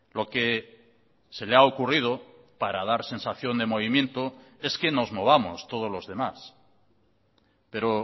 lo que se le ha ocurrido para dar sensación de movimiento es que nos movamos todos los demás pero